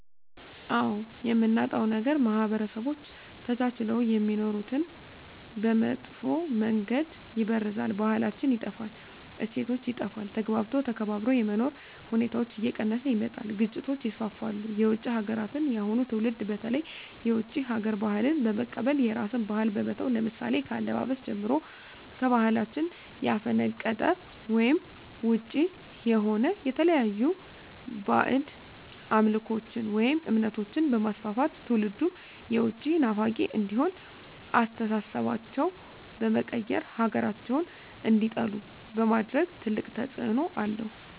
አዎ የምናጣዉ ነገር ማህበረሰቦች ተቻችለዉ የሚኖሩትን በመጥፋ መንገድ ይበርዛል ባህላችን ይጠፋል እሴቶች ይጠፋል ተግባብቶ ተከባብሮ የመኖር ሁኔታዎች እየቀነሰ ይመጣል ግጭቶች ይስፍፍሉ የዉጭ ሀገራትን የአሁኑ ትዉልድ በተለይ የዉጭ ሀገር ባህልን በመቀበል የራስን ባህል በመተዉ ለምሳሌ ከአለባበስጀምሮ ከባህላችን ያፈነቀጠ ወይም ዉጭ የሆነ የተለያዩ ባእጅ አምልኮችን ወይም እምነቶችንበማስፍፍት ትዉልዱም የዉጭ ናፋቂ እንዲሆን አስተሳሰባቸዉ በመቀየር ሀገራቸዉን እንዲጠሉ በማድረግ ትልቅ ተፅዕኖ አለዉ